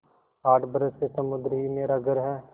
आठ बरस से समुद्र ही मेरा घर है